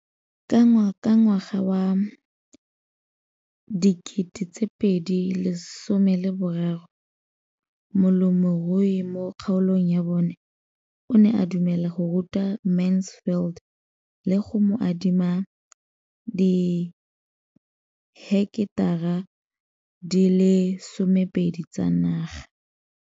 Ka ngwaga wa 2013, molemirui mo kgaolong ya bona o ne a dumela go ruta Mansfield le go mo adima di heketara di le 12 tsa naga.